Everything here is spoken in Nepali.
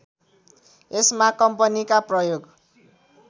यसमा कम्पनीका प्रयोग